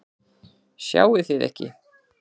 Sjáið þið ekki?